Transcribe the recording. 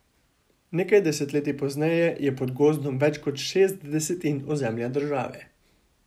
Nekaj desetletij pozneje je pod gozdom več kot šest desetin ozemlja države.